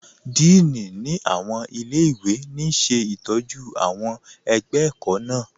Dííní ni awọn ilẹ̀-iwe ní ṣetọju awọn ẹgbẹ ẹ̀kọ̀ kan.